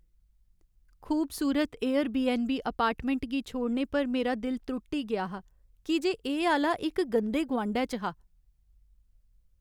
खूबसूरत Airbnb apartment गी छोड़ने पर मेरा दिल त्रुट्टी गेआ हा की जे एह् आह्‌ला इक गंदे गुआंढै च हा।